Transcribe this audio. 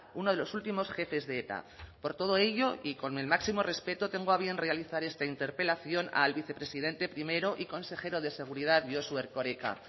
uno de los últimos jefes de eta por todo ello y con el máximo respeto tengo a bien realizar esta interpelación al vicepresidente primero y consejero de seguridad josu erkoreka